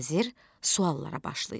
Vəzir suallara başlayır.